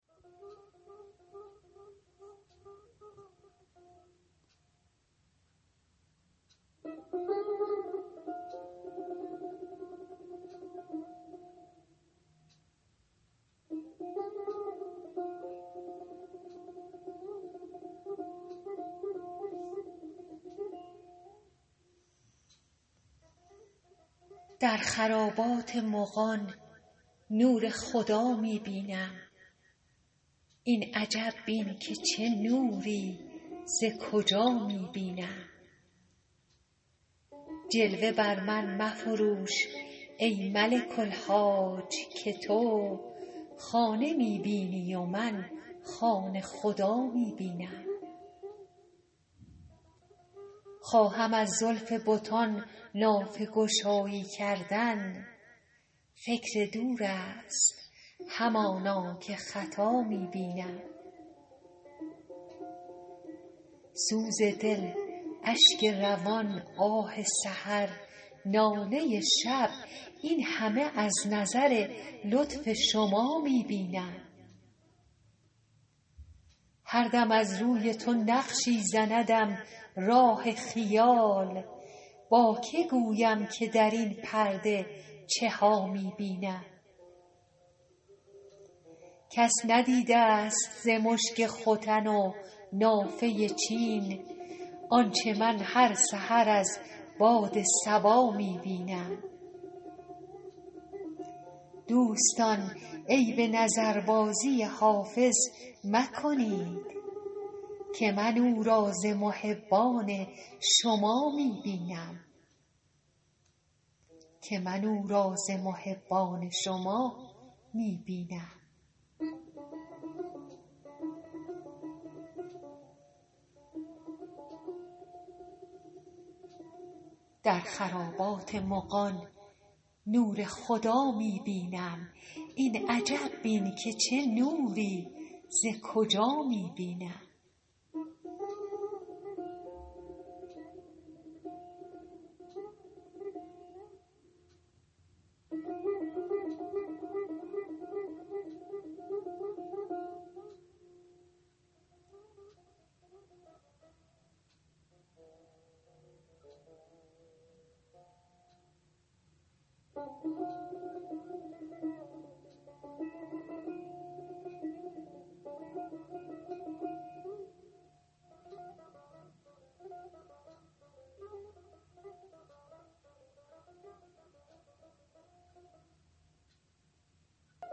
در خرابات مغان نور خدا می بینم این عجب بین که چه نوری ز کجا می بینم جلوه بر من مفروش ای ملک الحاج که تو خانه می بینی و من خانه خدا می بینم خواهم از زلف بتان نافه گشایی کردن فکر دور است همانا که خطا می بینم سوز دل اشک روان آه سحر ناله شب این همه از نظر لطف شما می بینم هر دم از روی تو نقشی زندم راه خیال با که گویم که در این پرده چه ها می بینم کس ندیده ست ز مشک ختن و نافه چین آنچه من هر سحر از باد صبا می بینم دوستان عیب نظربازی حافظ مکنید که من او را ز محبان شما می بینم